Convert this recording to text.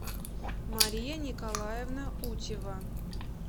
мария николаевна утева